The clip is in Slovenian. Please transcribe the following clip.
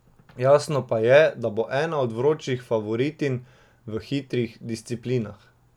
Jasno pa je, da bo ena od vročih favoritinj v hitrih disciplinah.